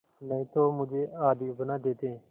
नहीं तो मुझे आदमी बना देते